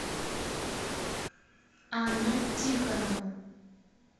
анну тихонову